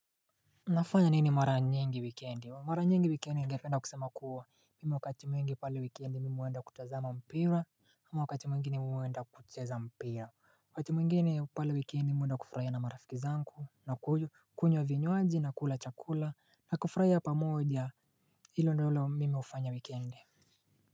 Nafanya nini mara nyingi wikiendi mara nyingi wikendi ningependa kusema kuwa Mimu wakati mwingi pale wikendi mimi uenda kutazama mpira ama wakati mwingi mwenda kuteza mpira Wakati mwingi pale wikendi mwenda kufraya na marafiki zanku na kunywa vinywaji na kula chakula na kufraya pa moodya ilo nolo mimi ufanya wikendi.